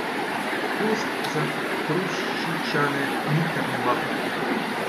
Pust za Hrušičane ni karneval.